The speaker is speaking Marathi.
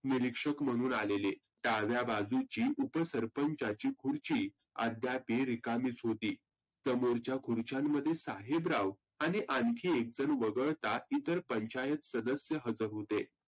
निरिक्षक म्हणून आलेले. डाव्याबाजूची उपसरपंचाची खुर्ची अद्यापही रिकामीच होती. समोरच्या खुर्च्यांमधील साहेबराव आणि एक जन वघळता इतर पंचायत सदस्य हजर होते.